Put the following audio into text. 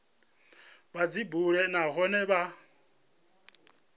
vha dzi bule nahone vha